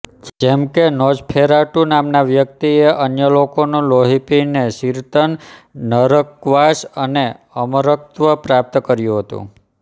જેમકે નોઝફેરાટુ નામના વ્યક્તિએ અન્ય લોકોનું લોહી પીને ચિંરતન નરકવાસ અને અમરત્વ પ્રાપ્ત કર્યું હતું